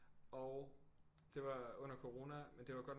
Og det var under corona men det var godt nok